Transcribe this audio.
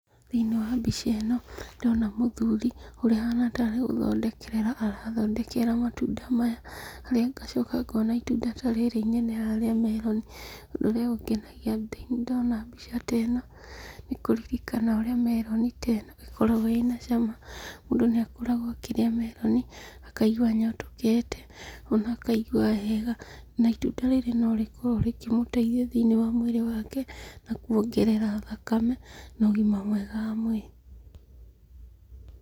Thĩiniĩ wa mbica ĩno, ndĩrona mũthuri, ũrĩa ahana tarĩ gũthondekerera arathondekerera matunda maya, harĩa ngacoka ngona itunda tarĩrĩ inene haha rĩa meroni. Ũndũ ũrĩa ũngenaia ndona mbica ta ĩno, nĩkũririkana ũrĩa meroni ta ĩno ĩkoragwo ĩna cama. Mũndũ nĩakoragwo akĩrĩa meroni, akaigua anyotokete, ona akaigua wega. Ona itunda rĩrĩ norĩkoragwo rĩkĩmũtaithia thĩiniĩ wa mwĩrĩ wake, nakuongerera thakame, na ũgima mwega wa mwĩrĩ.